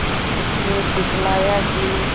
उसने दिखलाया कि